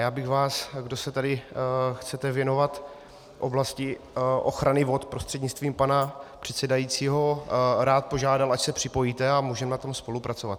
Já bych vás, kdo se tady chcete věnovat oblasti ochrany vod, prostřednictvím pana předsedajícího rád požádal, ať se připojíte a můžeme na tom spolupracovat.